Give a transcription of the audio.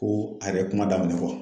Ko a yɛrɛ ye kuma daminɛ